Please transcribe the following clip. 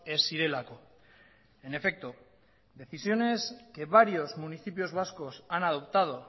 ez zirelako en efecto decisiones que varios municipios vascos han adoptado